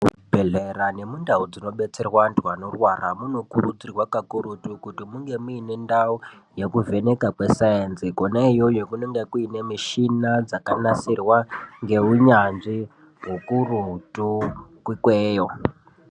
Muzvibhedhlera nemundau dzinobetserwa anthu anorwara, munokurudzirwa kakurutu kuti munge muine ndau yekuvheneka kweSayenzi. Khona iyoyo kunenge kuine mishina dzakanasirwa ngeunyanzvi hukurutu ikweyo.